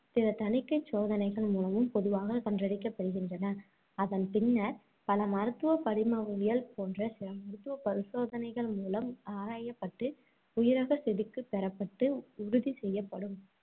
பிற தணிக்கைச் சோதனைகள் மூலமும் பொதுவாக படுகின்றன. அதன் பின்னர், பல மருத்துவப் படிமவியல் போன்ற சில மருத்துவப் பரிசோதனைகள் மூலம் ஆராயப்பட்டு உயிரகச்செதுக்கு பெறப்பட்டு உறுதி செய்யப்படும்.